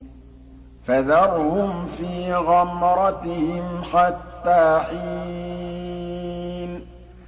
فَذَرْهُمْ فِي غَمْرَتِهِمْ حَتَّىٰ حِينٍ